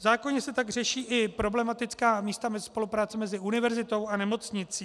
V zákoně se tak řeší i problematická místa spolupráce mezi univerzitou a nemocnicí.